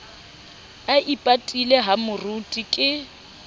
a ipatile ha moruti ke